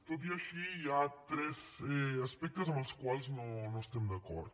tot i així hi ha tres aspectes amb els quals no estem d’acord